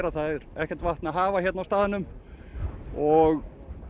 það er ekkert vatn að hafa hérna á staðnum og